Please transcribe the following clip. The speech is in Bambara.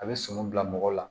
A bɛ sɔmi bila mɔgɔ la